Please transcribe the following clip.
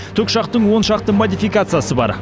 тікұшақтың он шақты модификациясы бар